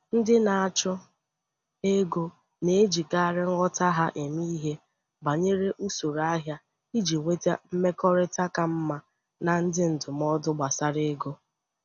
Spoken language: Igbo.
Ndị na-achụ ego na-ejikarị nghọta ha eme ihe banyere usoro ahịa iji nweta mmekọrịta ka mma na ndị ndụmọdụ gbasara ego.